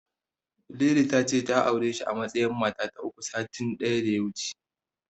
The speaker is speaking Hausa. Lili ta ce ta aure shi a matsayin mata ta uku, satin da ya wuce.